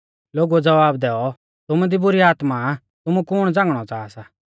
लोगुऐ ज़वाब दैऔ तुमु दी बुरी आत्मा आ तुमु कुण झ़ांगणौ च़ाहा सा